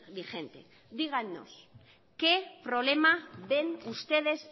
vigente díganos qué problema ven ustedes